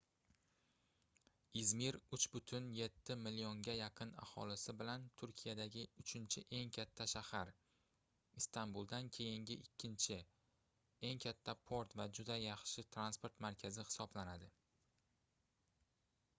izmir 3,7 millionga yaqin aholisi bilan turkiyadagi uchinchi eng katta shahar istambuldan keyingi ikkinchi eng katta port va juda yaxshi transport markazi hisoblanadi